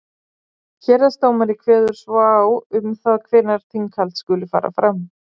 Héraðsdómari kveður svo á um það hvenær þinghald skuli fara fram.